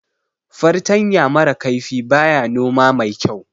Fartanya mara kaifi baya noma mai kyau